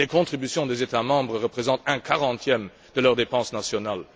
Les contributions des États membres représentent un quarantième de leurs dépenses nationales.